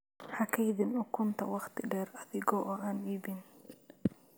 Ha kaydin ukunta wakhti dheer adiga oo aan iibin.